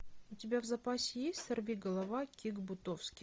у тебя в запасе есть сорвиголова кик бутовски